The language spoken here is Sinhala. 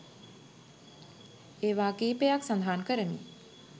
ඒවා කීපයක් සඳහන් කරමි.